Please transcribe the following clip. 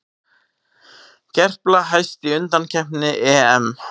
Gerpla hæst í undankeppni EM